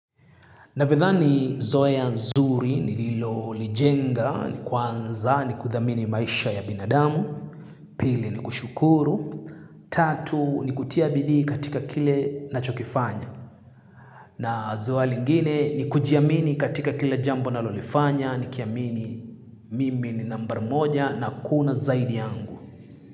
Ninavyothani zoea nzuri nililolijenga, ni kwanza, ni kuthamini maisha ya binadamu, pili ni kushukuru, tatu ni kutia bidii katika kile ninachokifanya. Na zoea lingine ni kujiamini katika kila jambo ninalolifanya, nikiamini mimi ni nambari moja na hakuna zaidi yangu.